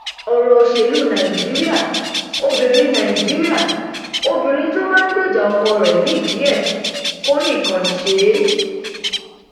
ìlànà ṣíṣe àmúlò àwọn aṣojú lẹgbẹ um pdp fi ṣètò ìdìbò abẹlé um tiwọn